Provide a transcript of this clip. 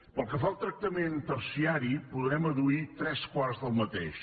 pel que fa al tractament terciari podrem adduir tres quarts del mateix